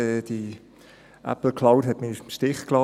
Die Apple Cloud hat mich im Stich gelassen;